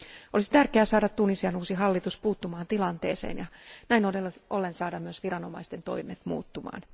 Olisi tärkeää saada Tunisian uusi hallitus puuttumaan tilanteeseen ja näin ollen saada myös viranomaisten toimet muuttumaan.